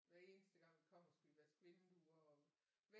Hver eneste gang vi kommer skal vi vaske vinduer